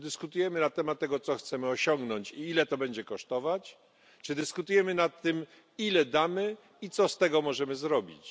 Czy dyskutujemy na temat tego, co chcemy osiągnąć i ile to będzie kosztować, czy dyskutujemy nad tym, ile damy i co z tego możemy zrobić?